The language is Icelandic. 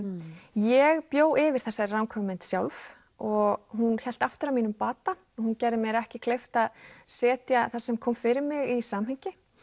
ég bjó yfir þessari ranghugmynd sjálf og hún hélt aftur að mínum bata hún gerði mér ekki kleift að setja það sem kom fyrir mig í samhengi